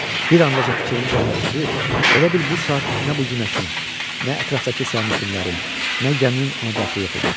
Bir an dacə fikrini cəmləşdirib, elə bil bu saat nə bu günəşin, nə ətrafdakı sərnişinlərin, nə gəminin ona dəxli yox idi.